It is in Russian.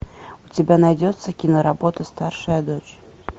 у тебя найдется киноработа старшая дочь